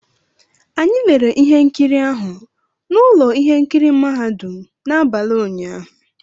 Anyị lerere ihe nkiri ahụ na ụlọ ihe nkiri mahadum n'abalị ụnyaahụ